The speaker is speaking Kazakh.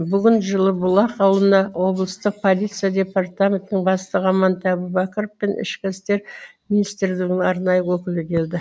бүгін жылыбұлақ ауылына облыстық полиция департаментінің бастығы амантай әубәкіров пен ішкі істер министрілігінің арнайы өкілі келді